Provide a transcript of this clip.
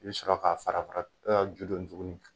I bɛ sɔrɔ ka fara fara juden tuguni